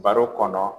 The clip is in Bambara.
Baro kɔnɔ